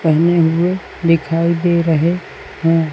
पेहने हुए दिखाई दे रहे हैं।